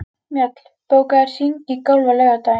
Mjöll, bókaðu hring í golf á laugardaginn.